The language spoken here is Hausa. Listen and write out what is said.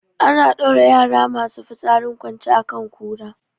Ana ɗaura yara masu fitsarin kwance a kan kura